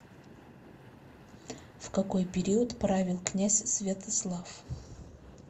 в какой период правил князь святослав